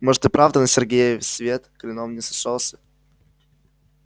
может и правда на сергее свет клином не сошёлся